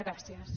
gràcies